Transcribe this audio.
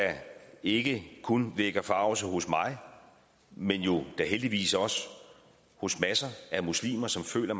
ikke kun vækker forargelse hos mig men jo da heldigvis også hos masser af muslimer som føler